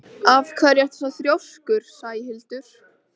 Af hverju ertu svona þrjóskur, Sæhildur?